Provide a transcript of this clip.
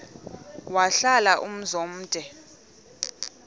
wahlala umzum omde